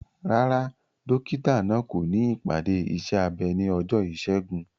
Rárá, dókítà náà kò ní ìpàdé iṣẹ́ abẹ ní ọjọ́ Ìṣẹ́gun.